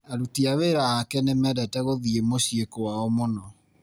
Aruti a wĩra ake nĩ mendete gũthiĩ mũciĩ kwao mũno.